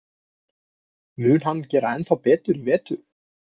Mun hann gera ennþá betur í vetur?